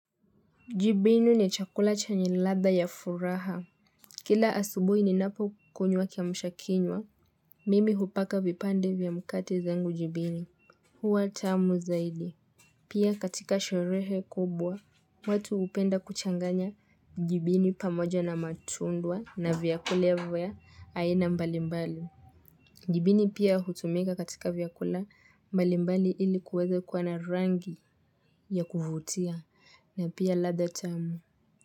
Jibinu ni chakula chenye ladha ya furaha. Kila asubuhi ninapo kunywa kiamusha kinywa, mimi hupaka vipande vya mkati zangu jibinyu. Huwa tamu zaidi. Pia katika sherehe kubwa, watu hupenda kuchanganya jibinyu pamoja na matunda na vyakula ya vya aina mbalimbali. Jibinyu pia hutumika katika vyakula mbalimbali ili kuweza kuwa na rangi ya kuvutia na pia ladha tamu.